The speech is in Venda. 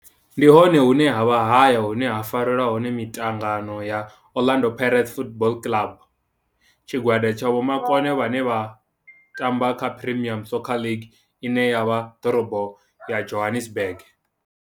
Ndi hone hune havha haya hune ha farelwa hone mitangano ya Orlando Pirates Football Club. Tshigwada tsha vhomakone vhane vha tamba kha Premier Soccer League ine ya vha Dorobo ya Johannesburg.